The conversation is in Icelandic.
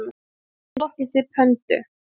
Hvernig flokkið þið pöndu?